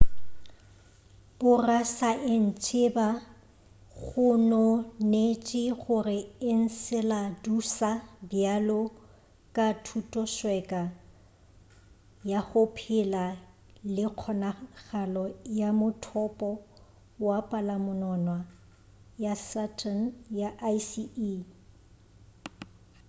borasaentsheba gononetše gore enceladusa bjalo ka thutosweka ya go phela le kgonagalo ya mothopo wa palamonwana ya saturn ya icy e